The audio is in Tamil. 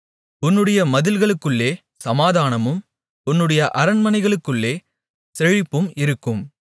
உன்னுடைய மதில்களுக்குள்ளே சமாதானமும் உன்னுடைய அரண்மனைகளுக்குள்ளே செழிப்பும் இருக்கும்